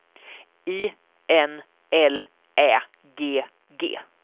I N L Ä G G